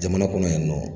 Jamana kɔnɔ yan nɔ